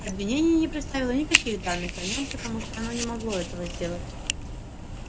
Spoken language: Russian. обвинение не представило никаких данных о нём потому что оно не могло этого сделать